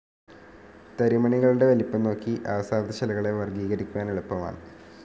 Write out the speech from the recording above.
തരിമണികളുടെ വലിപ്പംനോക്കി അവസാദശിലകളെ വർഗീകരിക്കുവാൻ എളുപ്പമാണ്.